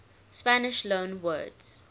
spanish loanwords